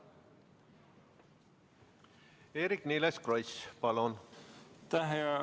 Eerik-Niiles Kross, palun!